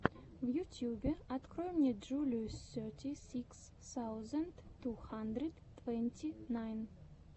в ютьюбе открой мне джулию сети сикс саузенд ту хандрид твэнти найн